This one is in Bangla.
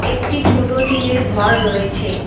একটি ছোটো টিনের ঘর রয়েছে।